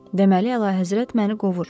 Deməli, Əla Həzrət məni qovur.